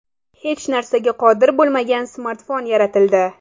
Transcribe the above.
Hech narsaga qodir bo‘lmagan smartfon yaratildi.